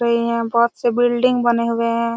रही है बहोत से बिल्डिंग बने हुए है।